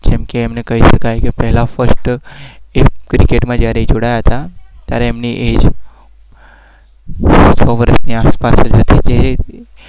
કહી શકાય